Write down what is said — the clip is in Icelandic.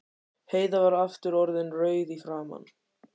Heiða var aftur orðin rauð í framan.